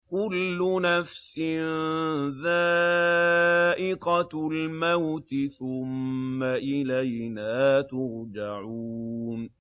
كُلُّ نَفْسٍ ذَائِقَةُ الْمَوْتِ ۖ ثُمَّ إِلَيْنَا تُرْجَعُونَ